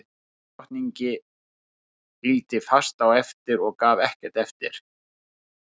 Ísdrottningi fylgdi fast á eftir og gaf ekkert eftir.